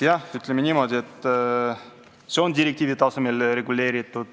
Jah, ütleme niimoodi, et see on direktiivi tasemel reguleeritud.